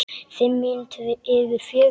Fimm mínútur yfir fjögur.